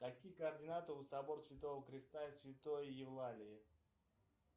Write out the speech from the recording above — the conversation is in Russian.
какие координаты у собора святого христа и святой евлалии